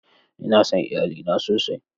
Ina son iyalina sosai.